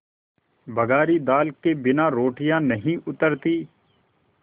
बघारी दाल के बिना रोटियाँ नहीं उतरतीं